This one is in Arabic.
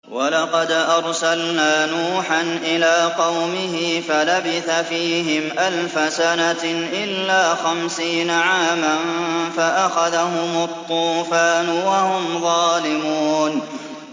وَلَقَدْ أَرْسَلْنَا نُوحًا إِلَىٰ قَوْمِهِ فَلَبِثَ فِيهِمْ أَلْفَ سَنَةٍ إِلَّا خَمْسِينَ عَامًا فَأَخَذَهُمُ الطُّوفَانُ وَهُمْ ظَالِمُونَ